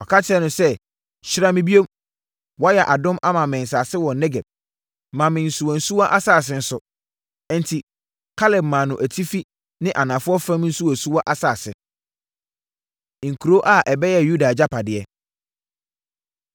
Ɔka kyerɛɛ no sɛ, “Hyira me bio. Woayɛ adom ama me Asase wɔ Negeb; ma me nsuwansuwa asase nso.” Enti, Kaleb maa no atifi ne anafoɔ fam nsuwansuwa asase. Nkuro A Ɛbɛyɛɛ Yuda Agyapadeɛ